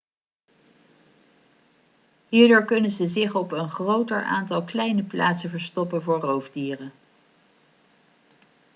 hierdoor kunnen ze zich op een groter aantal kleine plaatsen verstoppen voor roofdieren